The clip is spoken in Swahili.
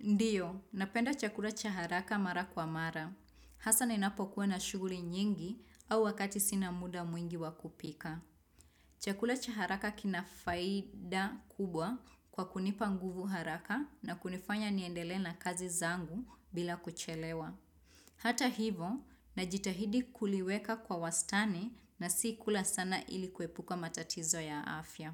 Ndiyo, napenda chakula cha haraka mara kwa mara. Hasa ninapokuwa na shughuli nyingi au wakati sina muda mwingi wa kupika. Chakula cha haraka kina faida kubwa kwa kunipa nguvu haraka na kunifanya niendelee na kazi zangu bila kuchelewa. Hata hivo, najitahidi kuliweka kwa wastani na si kula sana ilikuepuka matatizo ya afya.